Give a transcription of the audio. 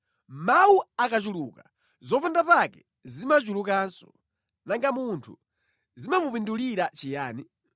Mawu akachuluka zopandapake zimachulukanso, nanga munthu zimamupindulira chiyani?